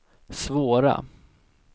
svåra